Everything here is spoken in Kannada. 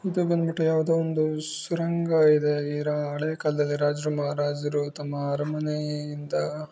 ಇದು ಬಂದ್ಬಿಟ್ಟು ಯಾವುದೋ ಒಂದು ಸುರಂಗ ಇದೆ. ಈ ರಾ ಹಳೇ ಕಾಲದಲ್ಲಿ ರಾಜರು ಮಹಾರಾಜರು ತಮ್ಮ ಅರಮನೆಯಿಂದ--